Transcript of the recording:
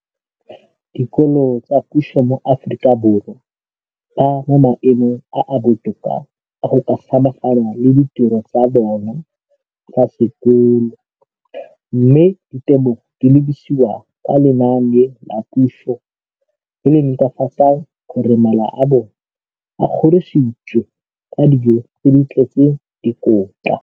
dikolo tsa puso mo Aforika Borwa ba mo maemong a a botoka a go ka samagana le ditiro tsa bona tsa sekolo, mme ditebogo di lebisiwa kwa lenaaneng la puso le le netefatsang gore mala a bona a kgorisitswe ka dijo tse di tletseng dikotla.